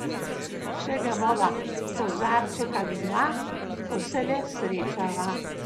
Še ga bova, kozarček ali dva, ko se le srečava.